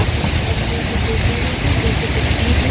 हम इस तस्वीर में देख रहे है यह जो तस्वीर है।